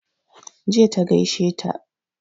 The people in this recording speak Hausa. Jiya ta gaishe ta